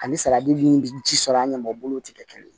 Ani salati min bɛ ji sɔrɔ an ɲɛmɔgɔ bolo tɛ kɛ kelen ye